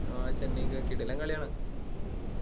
ആ ചെന്നൈക്ക് കിടിലം കളിയാണ്